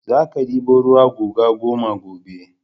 Za ka ɗebo ruwa guga goma gobe!